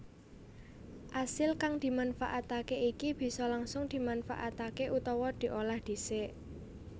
Asil kang dimanfaatke iki bisa langsung dimanfaatké utawa diolah dhisik